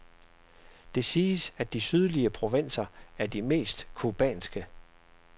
Det siges, at de sydlige provinser er de mest cubanske.